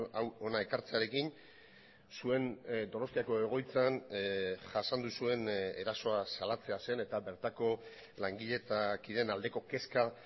hau hona ekartzearekin zuen donostiako egoitzan jasan duzuen erasoa salatzea zen eta bertako langile eta kideen aldeko kezka